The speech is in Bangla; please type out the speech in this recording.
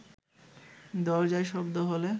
দরজায় শব্দ হলে